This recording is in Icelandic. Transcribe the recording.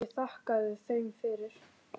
Ég þakkaði þeim fyrir.